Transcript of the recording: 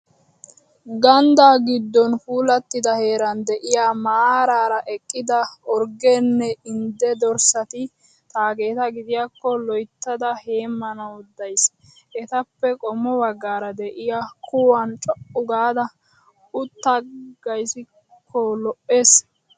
Gandda giddon puulattida heeran de'iyaa maaraara eqqida orggenne indde dorssati taageeta gidiyaakko loyittada heemmanawu dayis. Etappe qommo baggaara de'iyaa kuwan co'uu gaada uttaagiyaakko lo'ees.